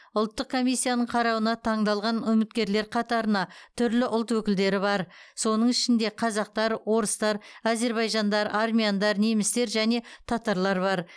ұлттық комиссияның қарауына таңдалған үміткерлер қатарына түрлі ұлт өкілдері бар соның ішінде қазақтар орыстар әзербайжандар армяндар немістер және татарлар бар